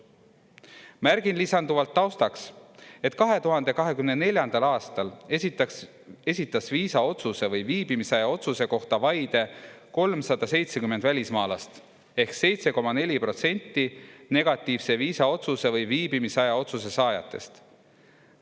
Märgin lisanduvalt taustaks, et 2024. aastal esitas viisaotsuse või viibimisaja otsuse kohta vaide 370 välismaalast ehk 7,4% negatiivse viisaotsuse või viibimisaja otsuse saajatest.